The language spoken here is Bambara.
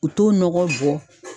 U t'o nɔgɔ bɔ